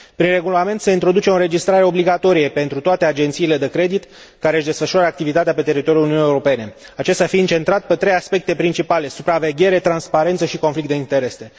Prin Regulament se introduce o înregistrare obligatorie pentru toate agențiile de credit care își desfășoară activitatea pe teritoriul Uniunii Europene, acesta fiind centrat pe trei aspecte principale supraveghere, transparență și conflict de interese.